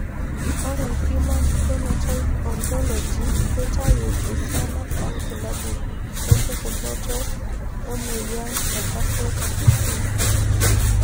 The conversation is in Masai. Ore Human Phenotype Ontology keitayu esiana obulabul wompukunot emoyian e Behcet's disease.